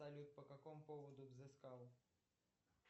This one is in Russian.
салют по какому поводу взыскал